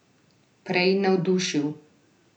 Prej navdušil.